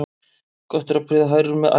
Gott er að prýða hrærur með æru.